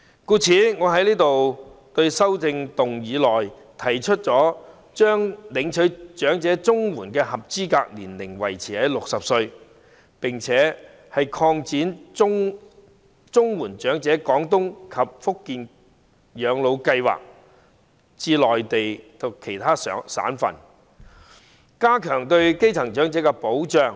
故此，我在修正案提出："將領取長者綜援的合資格年齡維持於60歲，並擴展'綜援長者廣東及福建省養老計劃'至內地其他省份"，以加強對基層長者的保障。